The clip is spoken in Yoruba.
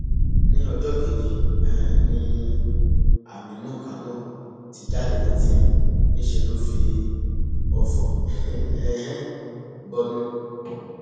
ní ọjọ kejì um ni aminu kánò ti jáde ní tiẹ níṣẹ lọ fi ọfọ um bọnu